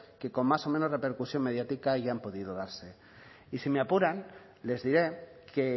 que con más o menos repercusión mediática hayan podido darse y si me apuran les diré que